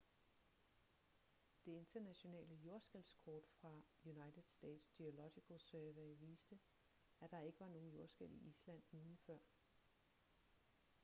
det internationale jordskælvskort fra united states geological survey viste at der ikke var nogen jordskælv i island ugen før